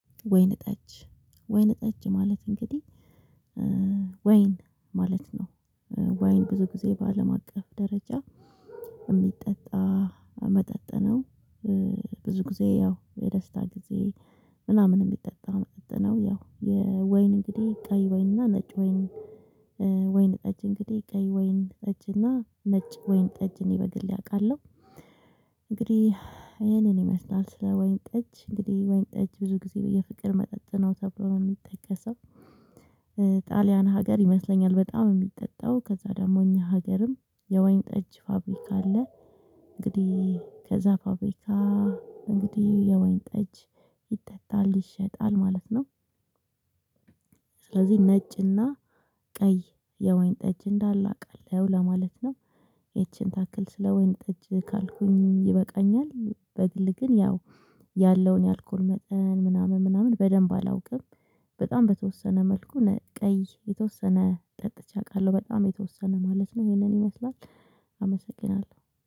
ወይነ ጠጅ ወይነ ጠጅ ማለት እንግዲህ ወይን ማለት ነው። ወይን ብዙ ጊዜ በአለም አቀፍ ደረጃ የሚጠጣ መጠጥ ነው። ብዙ ጊዜ ያው የደስታ ጊዜ ምናምን የሚጠጣ መጠጥ ነው ያው ወይን እንግዲህ ቀይ ወይን እና ነጭ ወይን ወይን ጠጅ እንግዲህ ቀይ ወይን ጠጅ እና ነጭ ወይን ጠጅ እኔ በግሌ አውቃለሁ። እንግዲህ ይሄንን ይመስላል ስለ ወይን ጠጅ እንግዲህ ወይን ጠጅ ብዙ ጊዜ የፍቅር መጠጥ ነው ተብሎ ነው የሚጠቀሰው። ጣሊያን ሀገር ይመስለኛል በጣም የሚጠጣው ከዛ ደግሞ እኛ ሀገርም የወይን ጠጅ ፋብሪካ አለ። እንግዲህ ከዛ ፋብሪካ እንግዲህ የወይን ጠጅ ይጠጣል ይሸጣል ማለት ነው። ስለዚህ ነጭና ቀይ የወይን ጠጅ እንዳለ አውቃለሁ ለማለት ነው። ይቺን ታክል ስለ ወይን ጠጅ ካልኩኝ ይበቃኛል። በግል ግን ያው ያለውን የአልኮል መጠን ምናምን ምናምን በደንብ አላውቅም። በጣም በተወሰነ መልኩ ቀይ የተወሰነ ጠጥቼ አውቃለሁ በጣም የተወሰነ ማለት ነው ይሄንን ይመስላል። አመሰግናለሁ